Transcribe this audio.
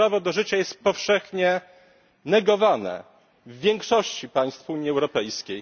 To prawo do życia jest powszechnie negowane w większości państw Unii Europejskiej.